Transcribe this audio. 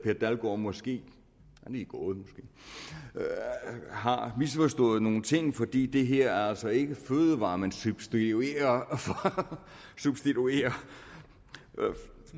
og måske lige gået har misforstået nogle ting fordi det her er altså ikke fødevarer man substituerer substituerer